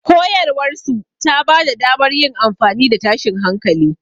Koyarwarsu ta ba da damar yin amfani da tashin hankali.